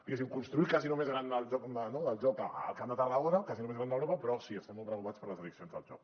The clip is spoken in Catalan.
diguéssim construir el casino més gran del joc al camp de tarragona el casino més gran d’europa però sí estem molt preocupats per les addiccions del joc